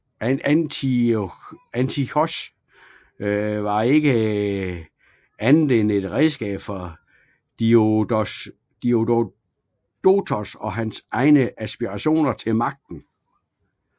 Antiochos var ikke andet et et redskab for Diodotos og hans egne aspirationer til magten